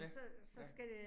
Ja, ja